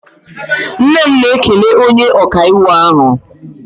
Nne m na-ekele onye ọkaiwu ahụ